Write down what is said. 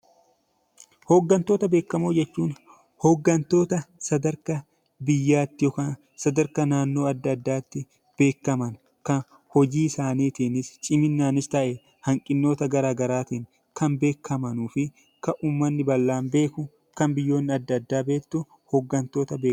Hoggantoota beekamoo jechuun hoggantoota sadarkaa biyyaatti yookiin sadarkaa naannoo addaa addaatti beekaman kan hojii isaaniitiin ciminaanis ta'ee hanqinoota garaa garaatiin kan beekamanii fi kan uummatni bal'aan beekuu fi biyyoonni addaa addaan beektu hoggantoota beekamoo jedhamu.